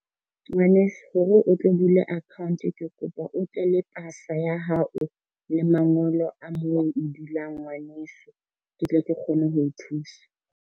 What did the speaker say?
Ngwaneso hore o tlo bule account ke kopa o tle le pasa ya hao le mangolo a moo o dulang ngwaneso, ke tle ke kgone ho o thusa.